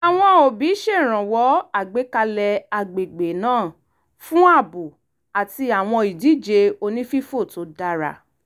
àwọn òbí ṣèrànwọ́ àgbékalẹ̀ agbègbè náà fún ààbò àti àwọn ìdíje onífífò tó dàra